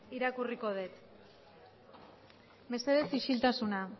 irakurriko det mesedez isiltasuna